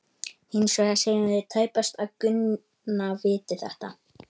Hins vegar segjum við tæpast að Gunna viti þetta.